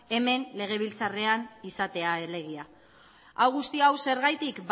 hemen legebiltzarrean izatea elegia hau guztia hau zergatik